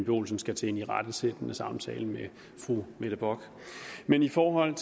olsen skal til en irettesættende samtale med fru mette bock men i forhold